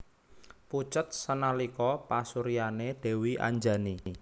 Pucet sanalika pasuryané Dèwi Anjani